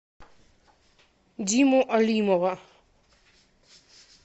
диму алимова